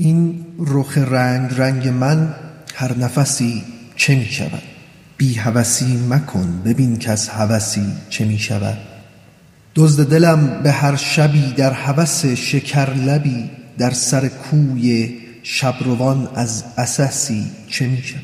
این رخ رنگ رنگ من هر نفسی چه می شود بی هوسی مکن ببین کز هوسی چه می شود دزد دلم به هر شبی در هوس شکرلبی در سر کوی شب روان از عسسی چه می شود